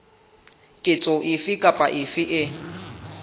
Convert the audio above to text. ketso efe kapa efe e